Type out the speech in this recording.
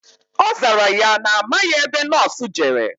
Ọzara ya na amaghi ebe nọọsụ jere